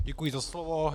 Děkuji za slovo.